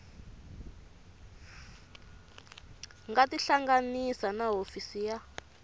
nga tihlanganisa na hofisi ya